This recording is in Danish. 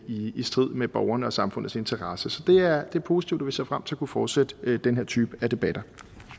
i strid med borgerne og samfundets interesse så det er positivt og vi ser frem til at kunne fortsætte den her type af debatter